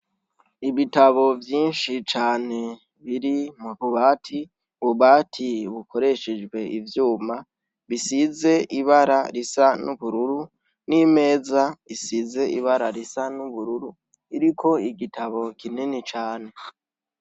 Ibitabo vyinshi cane biri mu bubati, ububati bukoreshejwe ivyuma bisize ibara risa n'ubururu n'imeza isize ibara risa n'ubururu, iriko igitabo kinini cane.